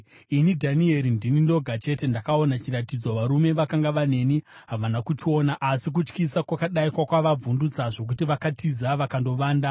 Ini, Dhanieri, ndini ndoga chete ndakaona chiratidzo; varume vakanga vaneni havana kuchiona, asi kutyisa kwakadai kwakavavhundutsa zvokuti vakatiza vakandovanda.